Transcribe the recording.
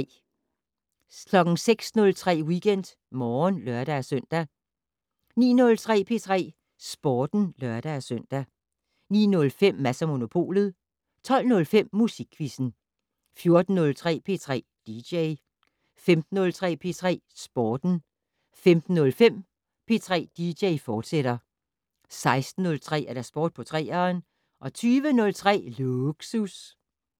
06:03: WeekendMorgen (lør-søn) 09:03: P3 Sporten (lør-søn) 09:05: Mads & Monopolet 12:05: Musikquizzen 14:03: P3 dj 15:03: P3 Sporten 15:05: P3 dj, fortsat 16:03: Sport på 3'eren 20:03: Lågsus